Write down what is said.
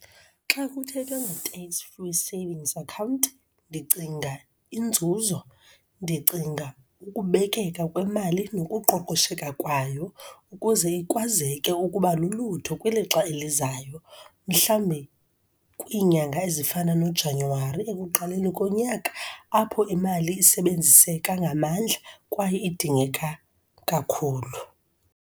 Xa kuthethwa nge-tax free savings account, ndicinga inzuzo, ndicinga ukubekeka kwemali nokuqoqosheka kwayo, ukuze ikwazeke ukuba lulutho kwilixa elizayo, mhlawumbi kwinyanga ezifana noJanuwari, ekuqaleni konyaka, apho imali isebenziseka ngamandla kwaye idingeka kakhulu.